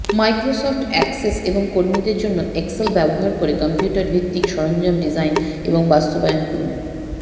Microsoft Access এবং কর্মীদের জন্য এক্সেল ব্যবহার করে কম্পিউটার ভিত্তিক সরঞ্জাম ডিজাইন এবং বাস্তবায়ন করুন